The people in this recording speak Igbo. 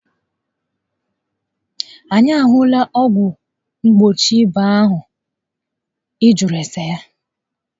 Anyị a hụla ọgwụ mgbochi ịba ahụ ị nà ajụ ese ya